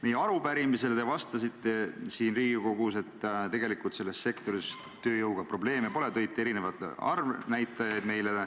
Meie arupärimisele siin Riigikogus te vastasite, et selles sektoris tööjõuga tegelikult probleeme pole, ja tõite meile erinevaid arvnäitajaid.